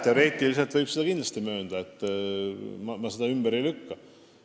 Teoreetiliselt võib seda kindlasti möönda, ma seda ümber ei lükka.